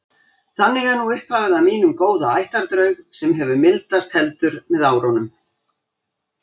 Þannig er nú upphafið að mínum góða ættardraug sem hefur mildast heldur með árunum.